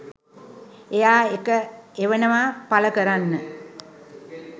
එයා ඒක එවනවා පළ කරන්න